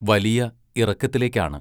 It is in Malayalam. വലിയ ഇറക്കത്തിലേക്കാണ്.